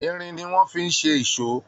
Irin ni wọ́n fi ṣe ìso.